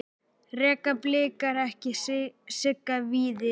Reka Blikar ekki Sigga Víðis?